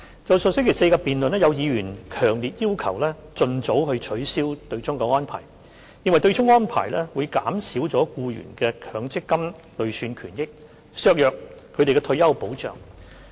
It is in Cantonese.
在上星期四的辯論，有議員強烈要求盡早取消對沖安排，認為對沖安排會減少僱員的強積金累算權益，削弱他們的退休保障。